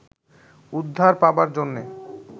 উদ্ধার পাবার জন্যে